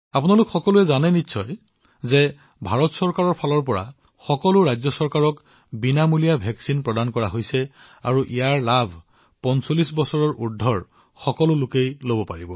আপোনালোকে এইটোও জানিব যে ভাৰত চৰকাৰে সকলো ৰাজ্য চৰকাৰলৈ বিনামূলীয়া প্ৰতিষেধক প্ৰেৰণ কৰিছে যিবোৰ ৪৫ বছৰৰ অধিক বয়সৰ লোকসকলে গ্ৰহণ কৰিব পাৰে